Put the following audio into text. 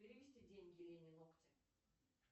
перевести деньги лене ногти